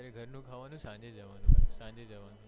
અત્યારે ઘર નું ખાવાનું સાંજે જવાનું